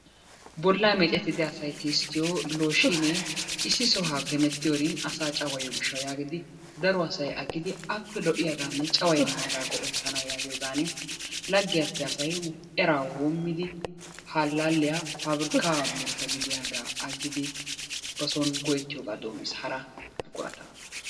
Bollaa meecettida asay tisttiyo looshinee issi sohuwa hemettiyorinkka asaa cawayiyo gishshawu yaagidi daro asay aggidi appe lo'iyaggaanne cawayennaagaa shammana yaagiyigan laggiyappe asay eraa woommidi ha allaaliya paabirkkaa muruta gidiyogaa aggidi ba son go'ettiyogaa doommiis haraa.